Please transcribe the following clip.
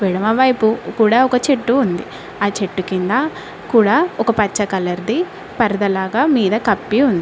ఎడమ వైపు కూడా ఒక చెట్టు ఉంది ఆ చెట్టు కింద కూడా ఒక పచ్చ కలర్ ది పరదా లాగా మీద కప్పి ఉం --